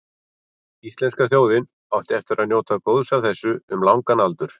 Íslenska þjóðin átti eftir að njóta góðs af þessu um langan aldur.